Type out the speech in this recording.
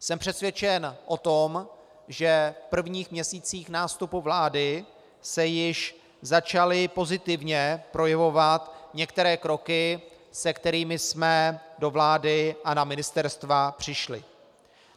Jsem přesvědčen o tom, že v prvních měsících nástupu vlády se již začaly pozitivně projevovat některé kroky, se kterými jsme do vlády a na ministerstva přišli.